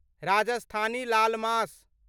राजस्थानी लाल मास